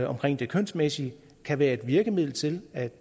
omkring det kønsmæssige kan være et virkemiddel til at